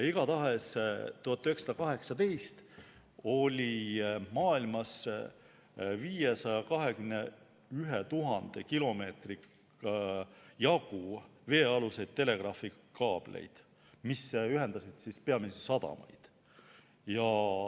Igatahes aastal 1918 oli maailmas 521 000 kilomeetri jagu veealuseid telegraafikaableid, mis ühendasid peamiselt sadamaid.